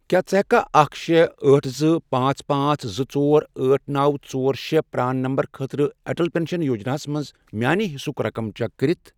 کیٛاہ ژٕ ہیٚککھا اکھ، شے، أٹھ، زٕ، پانژھ، پانژھ، زٕ، ژور، أٹھ، نوَ، ژور، شے، پران نمبر خٲطرٕ اٹل پنشن یوجنا ہَس میٚانہِ حصسُک رقم چیک کٔرِتھ؟